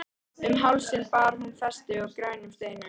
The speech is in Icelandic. Um hálsinn bar hún festi með grænum steinum.